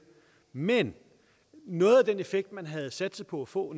men noget af den effekt man havde satset på at få